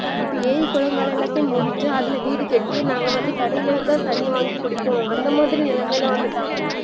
இப்ப ஏறி குலங்களெல்லாத்தையும் மூடிட்டு அதுல வீடு கட்டி நாங்க வந்து கடைளதா தண்ணீ வாங்கி குடிப்போம் அந்த மாதிரி நிலமைலலா வந்துட்டாங்க